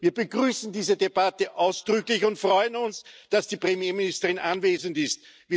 Wir begrüßen diese Debatte ausdrücklich und freuen uns, dass die Premierministerin anwesend ist.